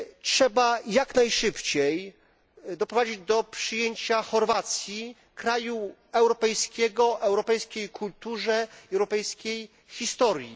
Trzeba jak najszybciej doprowadzić do przyjęcia Chorwacji, kraju europejskiego o europejskiej kulturze i europejskiej historii.